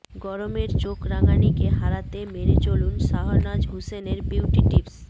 গরমের চোখ রাঙানিকে হারাতে মেনে চলুন শাহনাজ হুসেনের বিউটি টিপস